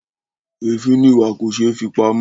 Èéfín ni ìwà kò ṣé fi pamọ́.